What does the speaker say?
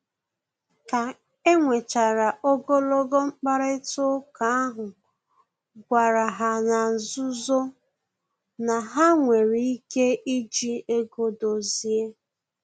Ka enwechara ogologo mkparịta ụka ahụ, gwara ha na-nzuzo na ha nwere ike iji ego dozie